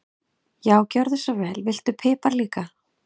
Já, gjörðu svo vel. Viltu pipar líka?